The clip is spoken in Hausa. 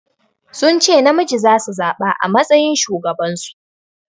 Sun ce namiji zasu zaɓa a matsayin shugaban su.